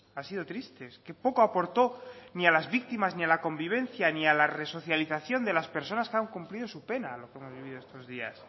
ha sido triste es que poco aportó ni a las víctimas ni a la convivencia ni a la resocialización de las personas que han cumplido su pena lo que hemos vivido estos días